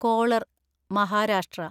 collar (Maharashtra)